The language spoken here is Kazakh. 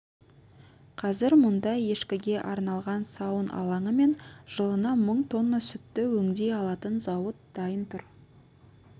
қазір мұнда ешкіге арналған сауын алаңы мен жылына мың тонна сүтті өңдей алатын зауыт дайын тұр